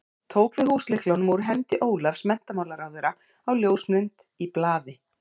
Tók við húslyklunum úr hendi Ólafs menntamála á ljósmynd í blaði.